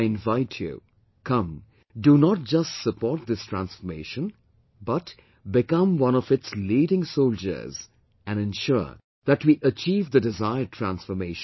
I invite you come, do not just support this transformation but become one of its leading soldiers and ensure that we achieve the desired transformation